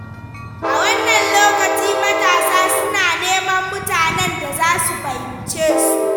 A wannan lokaci, matasa suna neman mutanen da za su fahimce su.